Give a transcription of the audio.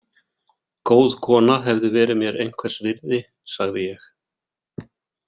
Góð kona hefði verið mér einhvers virði, sagði ég.